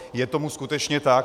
Je tomu skutečně tak.